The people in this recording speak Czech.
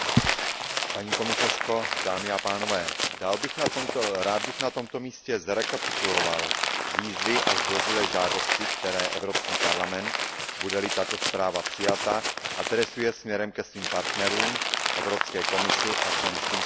Paní komisařko, dámy a pánové, rád bych na tomto místě zrekapituloval výzvy a zdvořilé žádosti, které Evropský parlament, bude li tato zpráva přijata, adresuje směrem ke svým partnerům, Evropské komisi a členským státům.